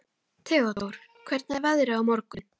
Theódór, hvernig er veðrið á morgun?